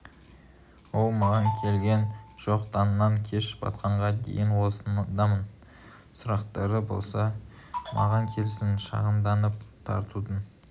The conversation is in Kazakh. ол маған келген жоқ таңнан кеш батқанға дейін осындамын сұрақтары болса маған келсін шағымданып тартудың